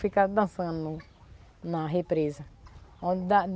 Fica dançando na represa. Onde da